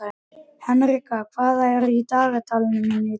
Henrika, hvað er í dagatalinu mínu í dag?